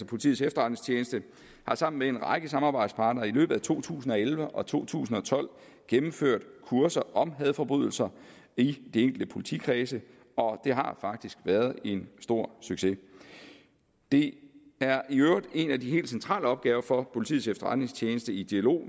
politiets efterretningstjeneste har sammen med en række samarbejdspartnere i løbet af to tusind og elleve og to tusind og tolv gennemført kurser om hadforbrydelser i de enkelte politikredse og det har faktisk været en stor succes det er i øvrigt en af de helt centrale opgaver for politiets efterretningstjeneste i dialog